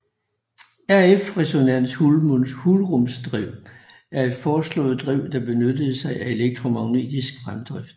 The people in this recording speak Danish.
RF resonans hulrumsdrev er et foreslået drev der benytter sig af elektromagnetisk fremdrift